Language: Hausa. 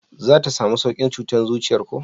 za ta samu saukin cutar zuciyan ko?